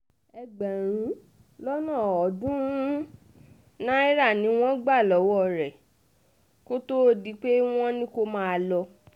ẹgbẹ̀rún lọ́nà ọ̀ọ́dúnrún náírà ni wọ́n gbà lọ́wọ́ rẹ kó tóó di pé wọ́n ní kó máa lọ